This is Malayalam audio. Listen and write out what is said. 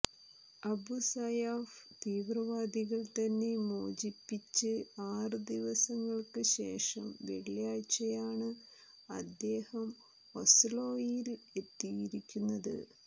അബു സയാഫ് തീവ്രവാദികൾ തന്നെ മോചിപ്പിച്ച് ആറ് ദിവസങ്ങൾക്ക് ശേഷം വെള്ളിയാഴ്ചയാണ് അദ്ദേഹം ഓസ്ലോയിൽ എത്തിയിരിക്കുന്നത്